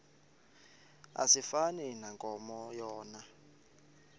asifani nankomo yona